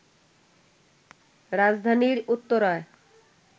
রাজধানীর উত্তরায়